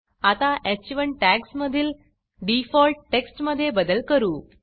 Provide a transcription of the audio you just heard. आता ह1 टॅग्जमधील डिफॉल्ट टेक्स्ट मधे बदल करू